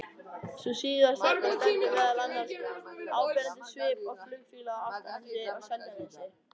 Sú síðastnefnda setur meðal annars áberandi svip á fuglalífið á Álftanesi og Seltjarnarnesi.